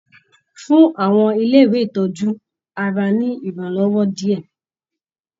Fún àwọn ilé ìtọjú gbogbo ara ní iranwọ diẹ!